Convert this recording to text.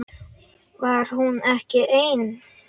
Var hún ekki ein?